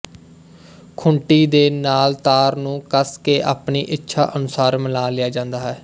ਖੂੰਟੀ ਦੇ ਨਾਲ ਤਾਰ ਨੂੰ ਕੱਸ ਕੇ ਆਪਣੀ ਇੱਛਾ ਅਨੁਸਾਰ ਮਿਲਾ ਲਿਆ ਜਾਂਦਾ ਹੈ